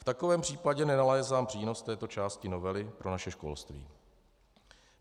V takovém případě nenalézám přínos této části novely pro naše školství.